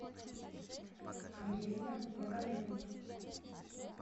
ангелина магомедовна